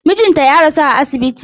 Mijinta ya rasu a asibiti.